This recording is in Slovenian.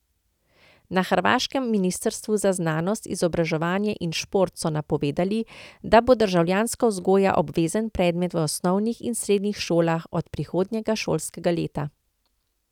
Na hrvaškem ministrstvu za znanost, izobraževanje in šport so napovedali, da bo državljanska vzgoja obvezen predmet v osnovnih in srednjih šolah od prihodnjega šolskega leta.